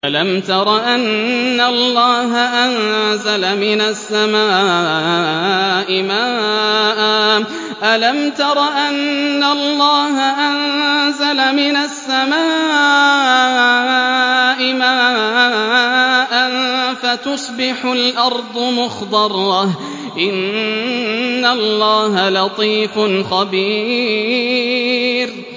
أَلَمْ تَرَ أَنَّ اللَّهَ أَنزَلَ مِنَ السَّمَاءِ مَاءً فَتُصْبِحُ الْأَرْضُ مُخْضَرَّةً ۗ إِنَّ اللَّهَ لَطِيفٌ خَبِيرٌ